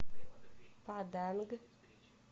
паданг